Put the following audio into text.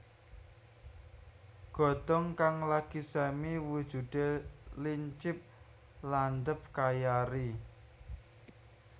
Godhong kang lagi semi wujudé lincip landhep kaya eri